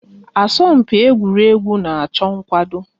Asọmpi egwuregwu na-achọ nkwado